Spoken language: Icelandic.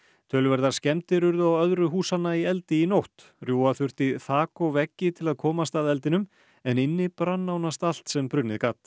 töluverðar skemmdir urðu á öðru húsanna í eldi í nótt rjúfa þurfti þak og veggi til að komast að eldinum en inni brann nánast allt sem brunnið gat